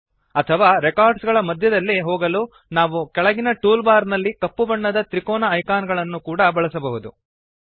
ಅಥವಾ ರೆಕಾರ್ಡ್ಸ್ ಗಳ ಮಧ್ಯದಲ್ಲಿ ಹೋಗಲು ನಾವು ಕೆಳಗಿನ ಟೂಲ್ ಬಾರ್ ನಲ್ಲಿ ಕಪ್ಪು ಬಣ್ಣದ ತ್ರಿಕೋಣ ಐಕಾನ್ ಗಳನ್ನೂ ಕೂಡ ಬಳಸಬಹುದು